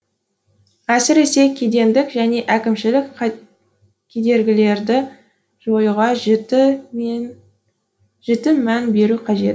әсіресе кедендік және әкімшілік кедергілерді жоюға жіті мән беру қажет